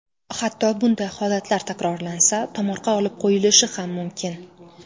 Hatto bunday holatlar takrorlansa, tomorqa olib qo‘yilishi ham mumkin.